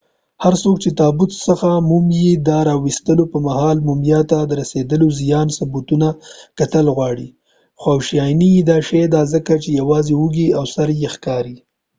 هرڅوک چې دتابوت څخه مومیا د را وستلو په مهال مومیا ته د رسیدلی زیان ثبوتونه کتل غواړی خواشينی به شي دا ځکه چې یوازې اوږی او سر یې ښکاری